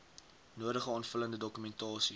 nodige aanvullende dokumentasie